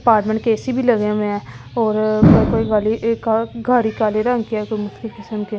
apartment के AC भी लगे हुए हैं और कोई गाली गाड़ी काले रंग के है कोई मुश्किल किसम के--